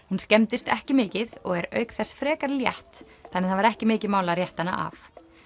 hún skemmdist ekki mikið og er auk þess frekar létt þannig það var ekki mikið mál að rétta hana af